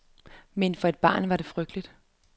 Men for et barn var det frygteligt.